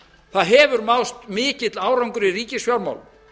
það hefur náðst mikill árangur í ríkisfjármálum